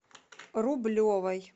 рублевой